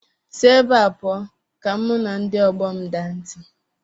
Si ebe a pụọ ka mụ na ndị ọgbọ m daa ntị!